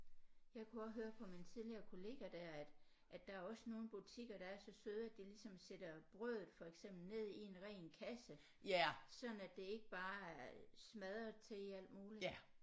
Jeg kunne også høre på min tidligere kollega der at at der er også nogle butikker der er så søde at de ligesom sætter brødet for eksempel ned i en ren kasse sådan at det ikke bare er smadret til i alt muligt